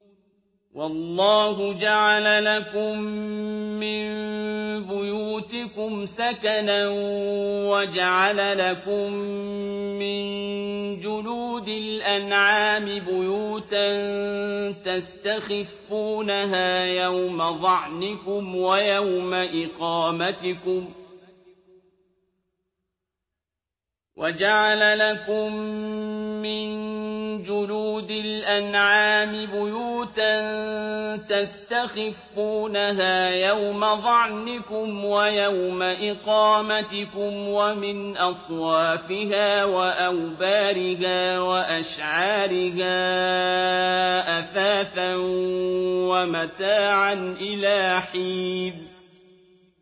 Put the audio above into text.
وَاللَّهُ جَعَلَ لَكُم مِّن بُيُوتِكُمْ سَكَنًا وَجَعَلَ لَكُم مِّن جُلُودِ الْأَنْعَامِ بُيُوتًا تَسْتَخِفُّونَهَا يَوْمَ ظَعْنِكُمْ وَيَوْمَ إِقَامَتِكُمْ ۙ وَمِنْ أَصْوَافِهَا وَأَوْبَارِهَا وَأَشْعَارِهَا أَثَاثًا وَمَتَاعًا إِلَىٰ حِينٍ